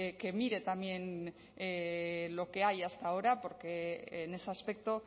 que mire también lo que hay hasta ahora porque en ese aspecto